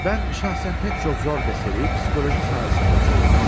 Mən şəxsən pək çox zor məsələyi psixologiya sayəsində çözdüm.